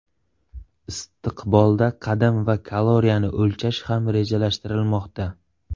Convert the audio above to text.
Istiqbolda qadam va kaloriyani o‘lchash ham rejalashtirilmoqda.